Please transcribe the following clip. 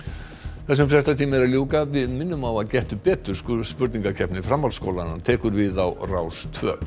þessum fréttatíma er að ljúka en við minnum á að Gettu betur spurningakeppni framhaldsskólanna tekur við á Rás tvö